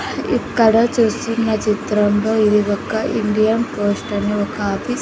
ఇక్కడ చూస్తున్న చిత్రంలో ఇది ఒక ఇండియన్ పోస్ట్ అని ఒక ఆపీస్ --